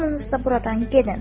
Hamınız da buradan gedin.